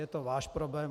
Je to váš problém.